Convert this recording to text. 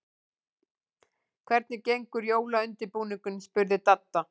Hvernig gengur jólaundirbúningurinn? spurði Dadda.